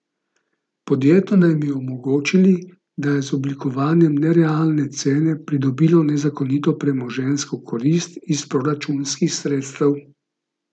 Podjetju naj bi omogočil, da je z oblikovanjem nerealne cene pridobilo nezakonito premoženjsko korist iz proračunskih sredstev.